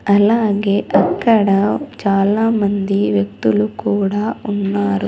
అలాగే అక్కడ చాలా మంది వ్యక్తులు కూడా ఉన్నారు.